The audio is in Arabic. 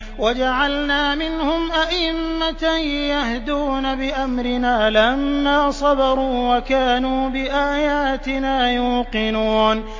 وَجَعَلْنَا مِنْهُمْ أَئِمَّةً يَهْدُونَ بِأَمْرِنَا لَمَّا صَبَرُوا ۖ وَكَانُوا بِآيَاتِنَا يُوقِنُونَ